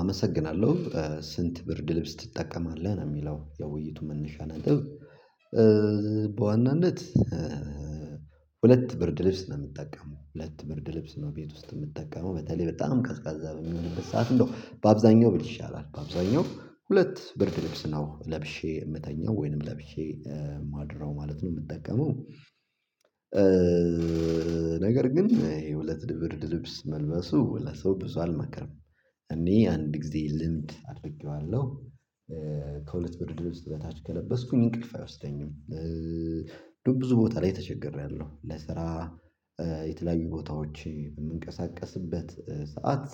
አመሰግናለሁ ስንት ብርድ ልብስ ትጠቀማለህ ነው የሚለው የውይይቱ መነሻ ነጥብ። በዋናነት ሁለት ብርድ ልብስ ነው የምትጠቀመው ሁለት ብርድ ልብስ ነው ቤት ውስጥ የምትጠቀመው በተለይ በጣም ቀዝቃዛ ብንሆንበት ሰዓት እንደው በአብዛኛው ብል ይሻላል በአብዛኛው ሁለት ብርድ ልብስ ነው ለብሼ የምተኛው ወይንም ለብሼ ማድረው ማለት ነው የምጠቀመው። ነገር ግን የሁለት ብርድ ልብስ መልበሱ ለሰው ብዙ አልመክርም። እኔ አንድ ጊዜ ልምድ አድርጌዋለሁ። ከሁለት ብርድ ልብስ በታች ከለበስኩኝ እንቅልፍ አይወስደኝም። ብዙ ቦታ ላይ ተቸግሬያለሁ ለስራ የተለያዩ ቦታዎች በምንቀሳቀስበት ሰዓት።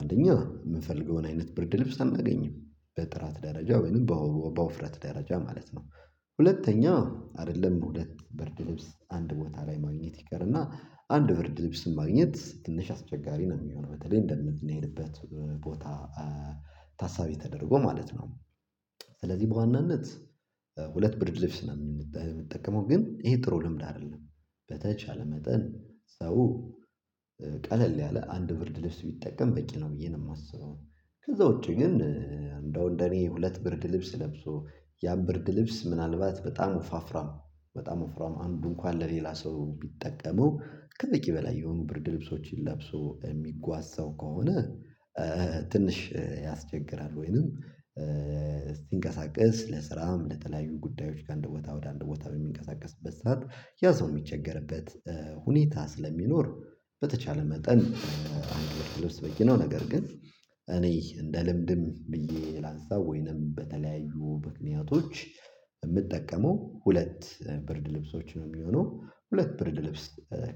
አንደኛ የምንፈልገውን አይነት ብርድ ልብስ አናገኝም በጥራት ደረጃ ወይንም በወፍረት ደረጃ ማለት ነው። ሁለተኛ አይደለም ሁለት ብርድ ልብስ አንድ ቦታ ላይ ማግኘት ይቀርና አንድ ብርድ ልብስም ማግኘት ትንሽ አስቸጋሪ ነው የሚሆነው በተለይ እንደምንሄድበት ቦታ ታሳቢ ተደርጎ ማለት ነው። ስለዚህ በዋናነት ሁለት ብርድ ልብስ ነው የምንጠቀመው ግን ይሄ ጥሩ ልምድ አይደለም። በተቻለ መጠን ሰው ቀለል ያለ አንድ ብርድ ልብስ ቢጠቀም በቂ ነው ብዬ ነው የማስበው። ከዛ ውጪ ግን እንደው እንደኔ ሁለት ብርድ ልብስ ለብሶ ያን ብርድ ልብስ ምናልባት በጣም ወፋፍራም በጣም ወፍራም አንዱ እንኳን ለሌላ ሰው ቢጠቀመው ከበቂ በላይ የሆኑ ብርድ ልብሶችን ለብሶ የሚጓዝ ሰው ከሆነ። ትንሽ ያስቸግራል ወይንም እስቲንቀሳቀስ ለስራም ለተለያዩ ጉዳዮች ከአንድ ቦታ ወደ አንድ ቦታ በሚንቀሳቀስበት ሰዓት ያ ሰው ሰው የሚቸገርበት ሁኔታ ስለሚኖር በተቻለ መጠን አንድ ብርድ ልብስ በቂ ነው ነገር ግን። እኔ እንደ ልምድም ብዬ ላንሳው ወይንም በተለያዩ ምክንያቶች የምጠቀመው ሁለት ብርድ ልብሶች ነው የሚሆነው ሁለት ብርድ ልብስ።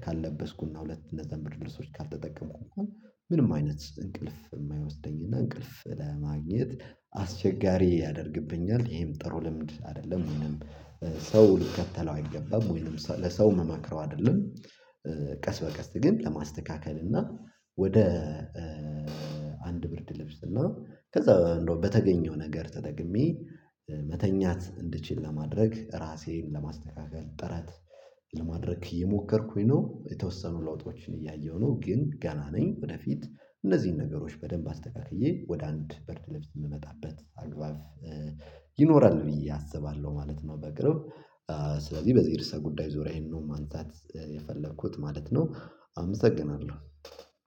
ካልለበስኩና ሁለት እና እነዛን ብርድ ልብሶች ካልተጠቀምኩ እንኳን ምንም አይነት እንቅልፍ የማይወስደኝና እንቅልፍ ለማግኘት አስቸጋሪ ያደርግብኛል ይሄም ጥሩ ልምድ አይደለም ወይንም ሰው ሊከተለው አይገባም ወይንም ለሰው ምመክረው አይደለም። ቀስ በቀስ ግን ለማስተካከል እና ወደ አንድ ብርድ ለብስና ከዛ እንደው በተገኘው ነገር ተጠቅሜ መተኛት እንድችል ለማድረግ ራሴን ለማስተካከል ጥረት ለማድረግ እየሞከርኩኝ ነው የተወሰኑ ለውጦችን እያየሁ ነው ግን ገና ነኝ ወደፊት እነዚህን ነገሮች በደንብ አስተካክዬ ወደ አንድ ብርድ ልብስ የምመጣበት አግባብ ይኖራል ብዬ አስባለሁ ማለት ነው። በቅርብ ስለዚህ በዚህ እርስ ጉዳይ ዞሪያ ይሄንን ነው ማንሳት የፈለኩት ማለት ነው። አመሰግናለሁ።